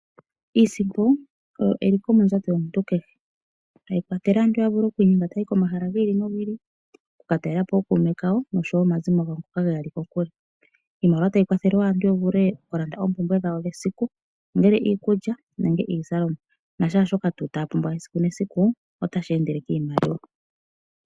Iisimpu oyo eliko mondjato yomuntu kehe, ta yikwathele aantu ya vule oku inyenga ta yayi komahala gi ili nogi ili oku katalelapo ookuume kawo nosho woo omazimo gawo ngoka ge yali kokule Iimaliwa ta yikwathele woo aantu ya vule oku lande oompumbwe dhawo dhesiku unene iikulya nongele iizalomwa na kehe shoka ta ya pumbwa esiku ne siku ota shi endele kiimaliwa.